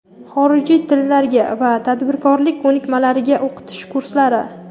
xorijiy tillarga va tadbirkorlik ko‘nikmalariga o‘qitish kurslari.